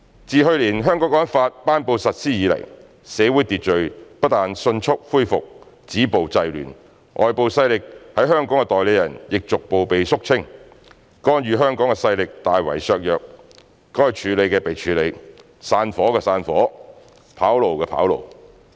"自去年《香港國安法》頒布實施以來，社會秩序不但迅速恢復，止暴制亂，外部勢力在香港的代理人亦逐步被肅清，干預香港的勢力大為削弱，該處理的被處理、散夥的散夥、跑路的跑路。